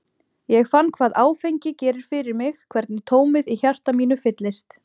Ég fann hvað áfengi gerir fyrir mig, hvernig tómið í hjarta mínu fyllist.